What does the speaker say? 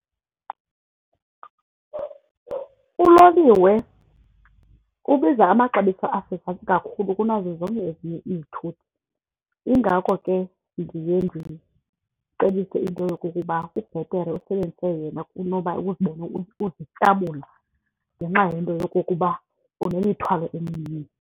Uloliwe ubiza amaxabiso asezantsi kakhulu kunazo zonke ezinye izithuthi yingako ke ndiye ndicebise into yokokuba kubhetere usebenzise yena kunoba uzibone uzityabula ngenxa yento yokokuba unemithwalo emininzi.